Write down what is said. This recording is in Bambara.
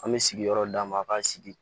An bɛ sigiyɔrɔ d'a ma a k'a sigi